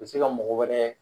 bɛ se ka mɔgɔ wɛrɛ